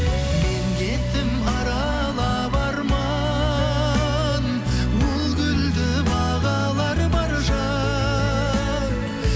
мен кеттім аралап арман ол гүлді бағалар бар жан